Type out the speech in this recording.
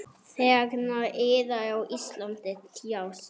Þegnar yðar á Íslandi þjást.